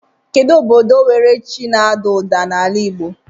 Kedu ododo nwere chi na ada uda n'ala igbo?